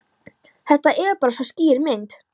Þetta er bara svo skýr mynd.